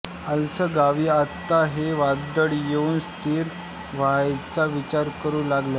Arles गांवी आता हे वादळ येऊन स्थि व्हायचा विचार करू लागलं